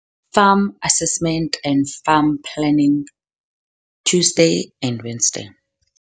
Farm Assessment and Farm Planning, Tuesday and Wednesday,